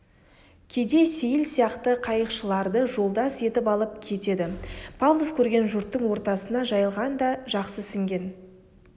кейде сейіл сияқты қайықшыларды жолдас етіп алып кетеді павлов көрген жұрттың ортасына жайылған да жақсы сіңген